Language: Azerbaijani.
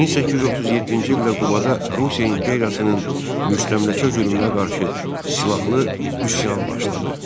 1837-ci ildə Qubada Rusiya imperiyasının müstəmləkə zülmünə qarşı silahlı üsyan başladı.